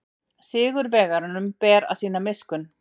Sigurvegaranum ber að sýna miskunn.